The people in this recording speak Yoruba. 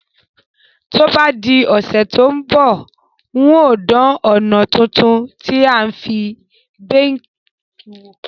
To bá di òsẹ̀ to n bọ̀, n o dan òná tuntun tí a fi n bake wò